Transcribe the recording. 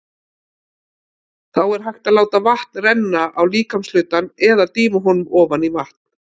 Þá er hægt að láta vatn renna á líkamshlutann eða dýfa honum ofan í vatn.